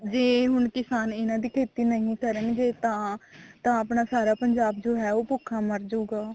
ਜੇ ਹੁਣ ਕਿਸਾਨ ਇਹਨਾ ਦੀ ਖੇਤੀ ਨਹੀਂ ਕਰਨਗੇ ਤਾਂ ਤਾਂ ਆਪਣਾ ਸਾਰਾ ਪੰਜਾਬ ਜੋ ਹੈ ਉਹ ਭੁੱਖਾ ਮਰਜੁਗਾ